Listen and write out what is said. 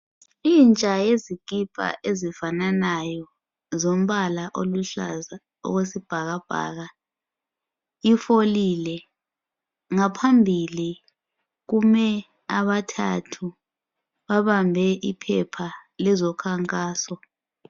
Intsha yezikipa ezifananayo zombala oluhlaza okwesibhakabhaka ifolile. Ngaphambili kume abathathu babambe iphepha lezokhankaso.